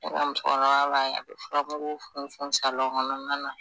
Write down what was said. mmusokɔrɔba a bɛ furamugu funfun kɔnɔna na